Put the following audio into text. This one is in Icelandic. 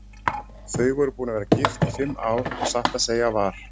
Þau voru búin að vera gift í fimm ár og satt að segja var